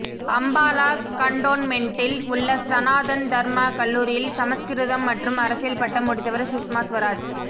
அம்பாலா கண்டோன்மெண்டில் உள்ள சனாதன் தர்மா கல்லூரியில் சமஸ்கிருதம் மற்றும் அரசியல் பட்டம் முடித்தவர் சுஷ்மா ஸ்வராஜ்